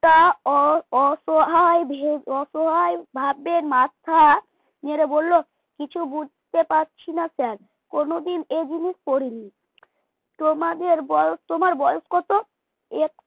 তা অস অসহায় অসহায় ভাবে মাথা নেড়ে বলল কিছু বুঝতে পারছি না sir কোনদিন এই জিনিস পড়িনি। তোমাদের বয়স তোমার বয়স কত?